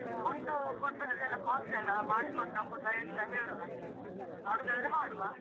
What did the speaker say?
ಮತ್ತೆ food food ಅಲ್ಲಿ ಎಲ್ಲಾ costly ಅಲ್ಲ ಮಾಡಿಕೊಂಡು ಹೋಗುವುದ ಎಂತ ಹೇಳು ನನ್ಗೆ ಮಾಡುದಾದ್ರೆ ಮಾಡುವ.